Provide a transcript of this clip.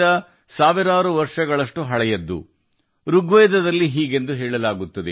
ನಮ್ಮ ಸಾವಿರಾರು ವರ್ಷಗಳ ಋಗ್ವೇದ ಋಗ್ವೇದದಲ್ಲಿ ಹೀಗೆ ಹೇಳಲಾಗಿದೆ